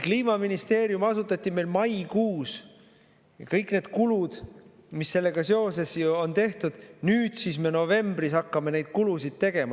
Kliimaministeerium asutati maikuus ja kõiki neid kulusid, mis sellega seoses on, hakkame nüüd siis novembris tegema?